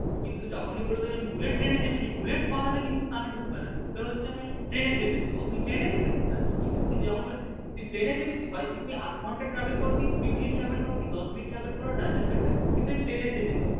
কিন্তু যখনই বলবে আমি bullet train এ চেপেছি bullet কথাটা কিন্তু কানে ঢুকবে না ঢুকবে হচ্ছে train এ চেপেছি ও তুই train এ চেপেছিস আচ্ছা ঠিক আছে তুই plane এ চেপেছিস তুমি আধ ঘণ্টা travel কি কুড়ি মিনিট travel করো কি দশ মিনিট travel করো doesn't matter কিন্তু আমি plane এ চেপেছি।